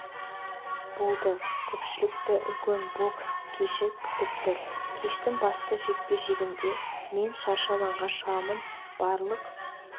болды көпшілікті үлкен бокс кеші күтіп тұр кештің басты жекпе-жегінде мен шаршы алаңға шығамын барлық